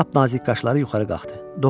Lap nazik qaşları yuxarı qalxdı.